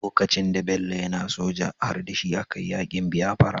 Lokacin da Bello yAna soja har dashi a kayi yakin biyafura